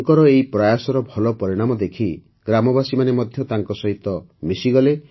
ତାଙ୍କର ଏହି ପ୍ରୟାସର ଭଲ ପରିଣାମ ଦେଖି ଗ୍ରାମବାସୀମାନେ ମଧ୍ୟ ତାଙ୍କସହିତ ମିଶିଗଲେ